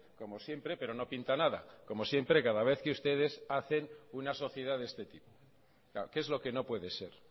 como siempre pero no pinta nada como siempre cada vez que ustedes hacen una sociedad de este tipo que es lo que no puede ser